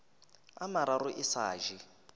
a mararo e sa je